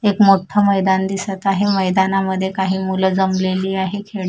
एक मोठं मैदान दिसत आहे मैदानामध्ये काही मुलं जमलेली आहेत खेळी--